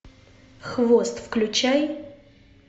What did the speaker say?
хвост включай